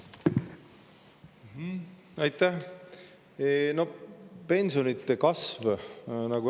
pensionide kasvust.